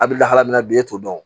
A bɛ lahala min na bi e t'o dɔn